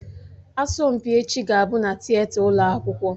Asọmpi echi ga-abụ na Tịeta ụlọ akwụkwọ